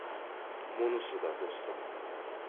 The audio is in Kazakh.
мұнысы да достығы